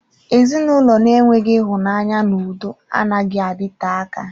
Ezinụlọ na-enweghị ịhụnanya na udo anaghị adịte aka.